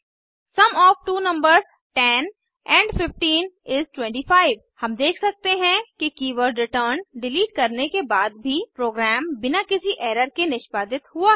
sum of two numbers 10 amp 15 इस 25 हम देख सकते हैं कि कीवर्ड रिटर्न डिलीट करने के बाद भी प्रोग्राम बिना किसी एरर के निष्पादित हुआ है